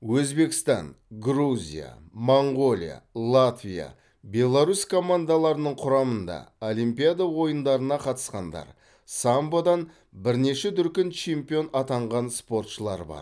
өзбекстан грузия моңғолия латвия беларусь командаларының құрамында олимпиада ойындарына қатысқандар самбодан бірнеше дүркін чемпион атанған спортшылар бар